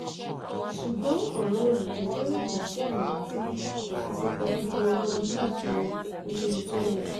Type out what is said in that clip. ṣùgbọ́n ọ̀rọ̀ olùjẹ́jọ́ yàtọ̀ sí àlàyé tí ìǹṣìpèkìtọ́ godwin sọ nílẹ̀-ẹjọ́ o